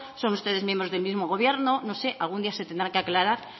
son ustedes miembros del mismo gobierno no sé algún día se tendrán que aclarar